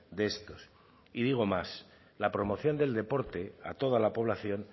de estos y digo más la promoción del deporte a toda la población